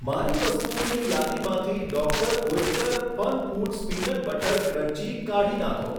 મારી વસ્તુઓની યાદીમાંથી doctor Oetker Funfoods peanut butter crunchy કાઢી નાંખો.